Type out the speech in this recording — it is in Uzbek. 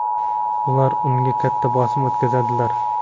Ular unga katta bosim o‘tkazdilar.